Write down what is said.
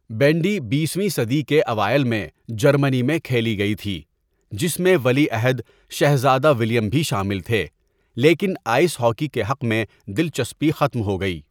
Bandy بیس ویں صدی کے اوائل میں جرمنی میں کھیلی گئی تھی، جس میں ولی عہد شہزادہ ولہیم بھی شامل تھے، لیکن آئس ہاکی کے حق میں دلچسپی ختم ہوگئی۔